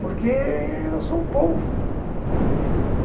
Porque eu sou polvo.